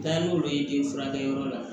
Taa n'olu ye den furakɛyɔrɔ la